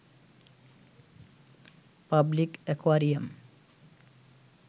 public aquarium